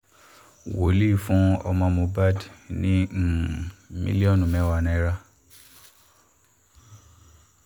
wòlíì fún ọmọ mohbad ní um mílíọ̀nù mẹ́wàá náírà